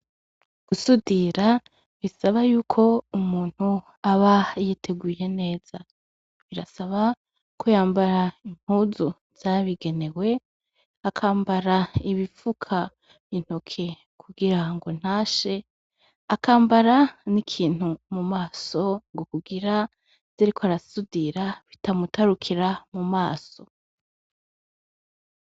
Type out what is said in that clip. Gusudira bisaba y'uko umuntu aba yiteguye neza; birasaba ko yambara impuzu zabigenewe, akambara ibifuka intoke kugirango ntashe, akambara n'ikintu mu maso ngo kugira ivyo ariko arasudira bitamutarukira mu maso.